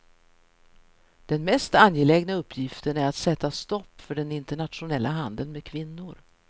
Den mest angelägna uppgiften är att sätta stopp för den internationella handeln med kvinnor.